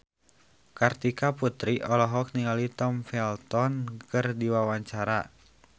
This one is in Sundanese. Kartika Putri olohok ningali Tom Felton keur diwawancara